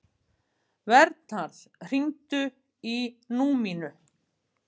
Vernharð, hringdu í Númínu.